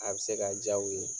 A be se ka diya u ye